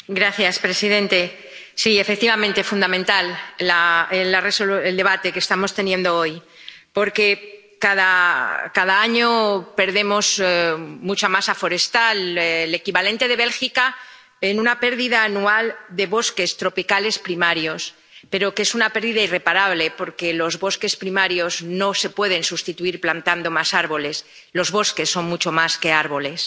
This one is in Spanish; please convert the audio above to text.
Señor presidente, efectivamente es fundamental el debate que estamos teniendo hoy, porque cada año perdemos mucha masa forestal, el equivalente de Bélgica, en una pérdida anual de bosques tropicales primarios, pero que es una pérdida irreparable porque los bosques primarios no se pueden sustituir plantando más árboles los bosques son mucho más que árboles.